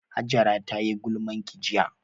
Hajara tayi gulmanki jiya